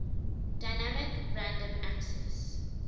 dynamic random access